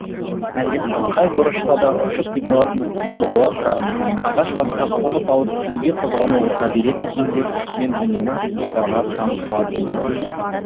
әлемнің қай бұрышына да ұшып кете алатын мүмкіндігі бола тұра ағаш басына қонып алып неге қозғалмай отыра береді екен деп мен үнемі құстарға таң қалатынмын